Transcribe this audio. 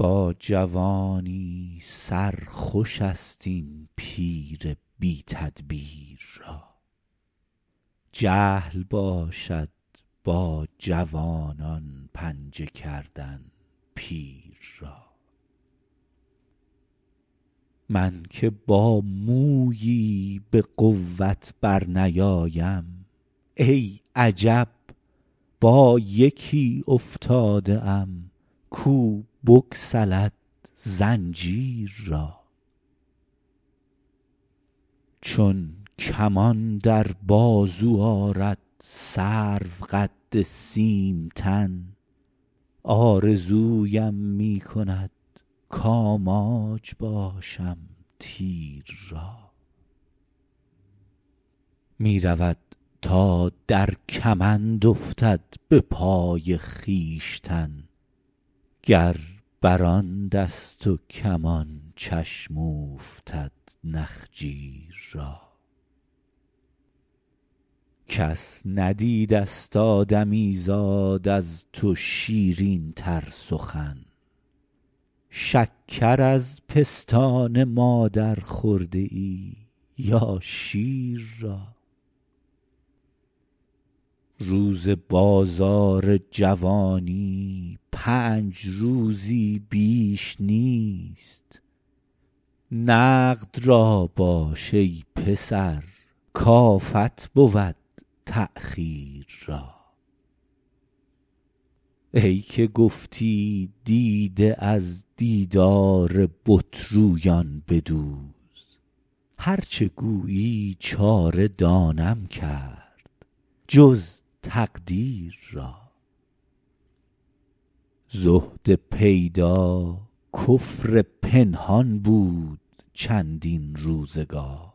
با جوانی سر خوش است این پیر بی تدبیر را جهل باشد با جوانان پنجه کردن پیر را من که با مویی به قوت برنیایم ای عجب با یکی افتاده ام کو بگسلد زنجیر را چون کمان در بازو آرد سروقد سیم تن آرزویم می کند کآماج باشم تیر را می رود تا در کمند افتد به پای خویشتن گر بر آن دست و کمان چشم اوفتد نخجیر را کس ندیدست آدمیزاد از تو شیرین تر سخن شکر از پستان مادر خورده ای یا شیر را روز بازار جوانی پنج روزی بیش نیست نقد را باش ای پسر کآفت بود تأخیر را ای که گفتی دیده از دیدار بت رویان بدوز هر چه گویی چاره دانم کرد جز تقدیر را زهد پیدا کفر پنهان بود چندین روزگار